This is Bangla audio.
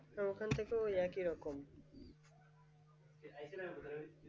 তো ওখানেও সেই একই রকম